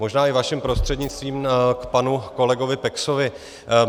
Možná, i vaším prostřednictvím, k panu kolegovi Peksovi.